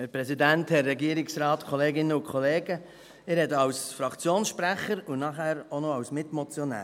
Ich spreche als Fraktionssprecher und nachher auch noch als Mitmotionär.